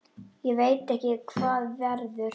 Ég veit ekki hvað verður.